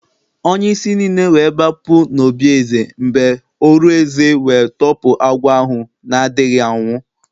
Onye-isi nile we b͕apu n'obí eze mb͕e orù eze we tọpu agwọ ahu nādighi anwu